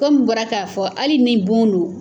Kɔmi n bɔra k'a fɔ hali ni bon don.